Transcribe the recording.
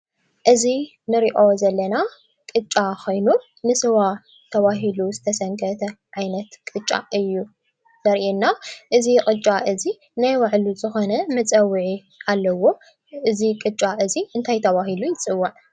እዚ እንሪኦ ዘለና ቅጫ ኮይኑ ንስዋ ዝተባሃለ ዝተሰንከተ ዓይነት ቅጫ እዩ ዘርእየና፡፡ እዚ ቅጫ እዚ ናይ ባዕሉ ዝኾነ መፀዊዒ ኣለዎ፡፡ እዚ ቅጫ እዚ እንታይ ተባሂሉ ይፅዋዕ?